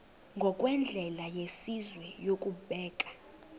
ngokwendlela yesizwe yokubeka